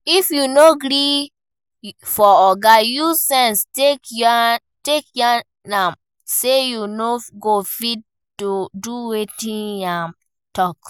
if you no gree for oga, use sense take yarn am sey you no go fit do wetin im talk